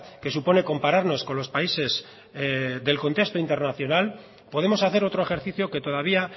que supone compararnos con los países del contexto internacional podemos hacer otro ejercicio que todavía